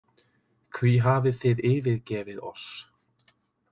Hví hafið þið yfirgefið oss?